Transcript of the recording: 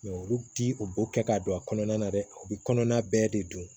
olu ti u b'o kɛ k'a don a kɔnɔna na dɛ u bɛ kɔnɔna bɛɛ de dun